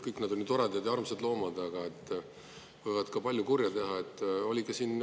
Kõik nad on ju toredad ja armsad loomad, aga võivad ka palju kurja teha.